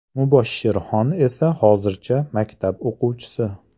Muboshshirxon esa hozircha maktab o‘quvchisi.